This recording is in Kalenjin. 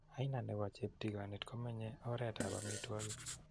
Aina nepo cheptigonit komenye oreet ap amitwogik.